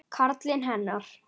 Karlinn hennar.